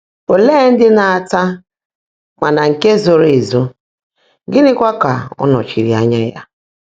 Olee ndị na-ata “ mana nke zoro ezo ,” gịnịkwa ka ọ nọchiri anya ya?